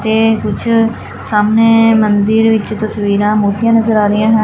ਤੇ ਕੁਛ ਸਾਹਮਣੇ ਮੰਦਿਰ ਵਿੱਚ ਤਸਵੀਰਾਂ ਮੂਰਤੀਆਂ ਨਜ਼ਰ ਆ ਰਹੀਆਂ ਹਨ।